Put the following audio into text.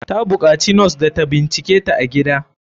Ta bukaci nos da ta binciketa a gida.